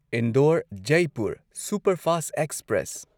Indore Jaipur superfast express